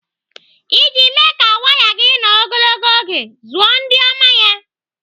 Iji mee ka waya gị nọ ogologo oge, zụọ ndị oma ya.